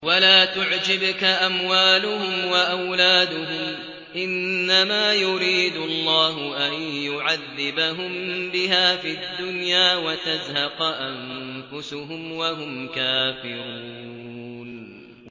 وَلَا تُعْجِبْكَ أَمْوَالُهُمْ وَأَوْلَادُهُمْ ۚ إِنَّمَا يُرِيدُ اللَّهُ أَن يُعَذِّبَهُم بِهَا فِي الدُّنْيَا وَتَزْهَقَ أَنفُسُهُمْ وَهُمْ كَافِرُونَ